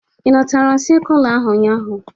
Ị natara sekula ahụ ụnyaahụ?